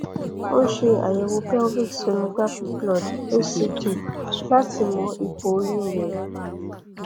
o ṣe àyẹwò cs] pelvic sonography blood hcg láti mọ ipò oyún rẹ